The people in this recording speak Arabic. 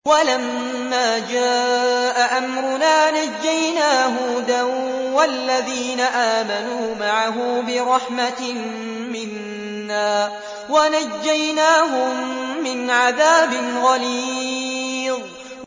وَلَمَّا جَاءَ أَمْرُنَا نَجَّيْنَا هُودًا وَالَّذِينَ آمَنُوا مَعَهُ بِرَحْمَةٍ مِّنَّا وَنَجَّيْنَاهُم مِّنْ عَذَابٍ غَلِيظٍ